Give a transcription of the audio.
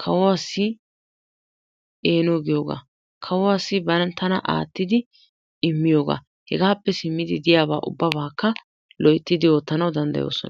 kawuwaassi eeno giyooga, kawuwassi bantana aattidi immiyooga hegappe simmidi diyaaba ubabbaakka loyttidi oottanaw danddayoosona.